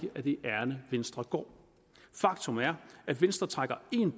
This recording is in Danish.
er det ærinde venstre går faktum er at venstre trækker en